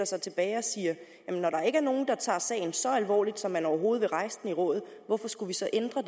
sig tilbage og siger når der ikke er nogen der tager sagen så alvorligt så man overhovedet vil rejse den i rådet hvorfor skulle vi så ændre